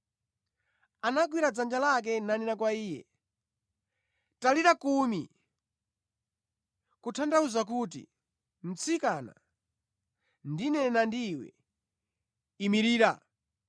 Anagwira dzanja lake nanena kwa iye, “Talita Kumi!” (Kutanthauza kuti, “Mtsikana, ndikunena ndi iwe, imirira!”)